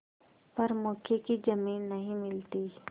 पर मौके की जमीन नहीं मिलती